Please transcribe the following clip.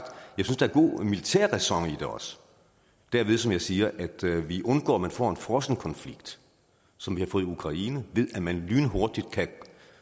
god militærræson i det også derved som jeg siger at vi undgår at man får en frossen konflikt som vi har fået i ukraine ved at man lynhurtigt kan